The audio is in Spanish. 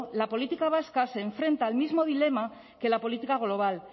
la política vasca se enfrenta al mismo dilema que la política global